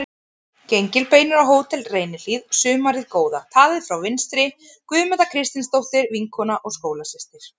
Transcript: Gengilbeinur á Hótel Reynihlíð sumarið góða, talið frá vinstri: Guðmunda Kristinsdóttir, vinkona og skólasystir